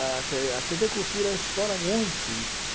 A tê a tê vê Cultura explora muito isso. Aham